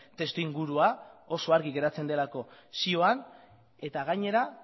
testuingurua oso argi geratzen delako zioan eta gainera